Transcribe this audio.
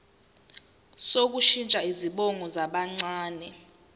sokushintsha izibongo zabancane